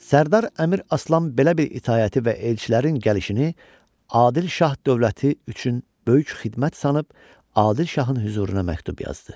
Sərdar Əmir Aslan belə bir itaəti və elçilərin gəlişini Adil şah dövləti üçün böyük xidmət sanıb Adil şahın hüzuruna məktub yazdı.